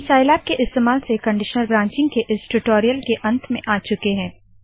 हम साइलैब के इस्तेमाल से कनडीशनल ब्रांचिंग के इस टूटोरियल के अंत में आ चुके है